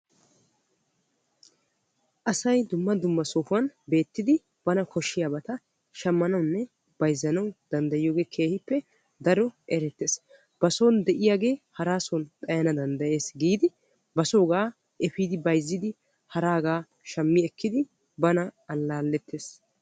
asay dumma dumma sohuwan beettidi bana koshshiyabata shammanawunne bayizzanawu danddayiyoge keehippe daro erettes. ba son de'iyagee haraa son xayana danddayes giidi basoogaa efiidi bayizzidi haraagaa shammi ekkidi bana allaallettes.